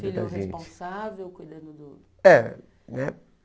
Filho responsável, cuidando do... É, né?